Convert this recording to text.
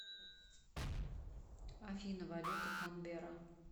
афина валюта канберра